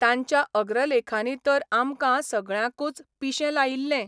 तांच्या अग्रलेखांनी तर आमकां सगळ्यांकूच पिशें लायिल्लें.